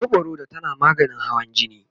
soɓorodo tana maganin hawan jini